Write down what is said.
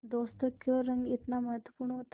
दोस्तों क्यों रंग इतना महत्वपूर्ण होता है